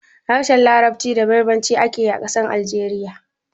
Harshen larabci da berber ake yi a ƙasar Algeriya